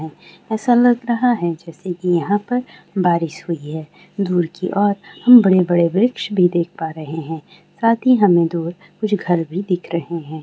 ऐसा लग रहा है जैसे की यहाँ पर बारिश हुई है दूर की ओर हम बड़े-बड़े वृक्ष भी देख पा रहे है साथ ही हमें दूर कुछ घर भी दिख रहे है।